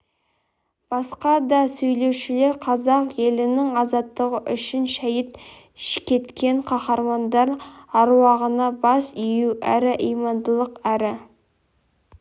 басқа да сөйлеушілер қазақ елінің азаттығы үшін шәйіт кеткен кахармандар аруағына бас ию әрі имандылық әрі